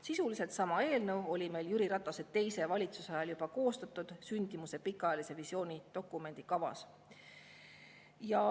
Sisuliselt sama eelnõu oli meil Jüri Ratase teise valitsuse ajal koostatud sündimuse pikaajalise visiooni dokumendi kavas.